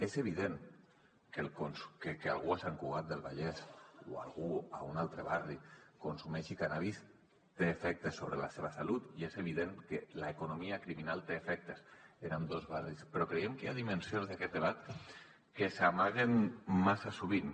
és evident que algú a sant cugat del vallès o algú a un altre barri consumeixi cànnabis té efectes sobre la seva salut i és evident que l’economia criminal té efectes en ambdós barris però creiem que hi ha dimensions d’aquest debat que s’amaguen massa sovint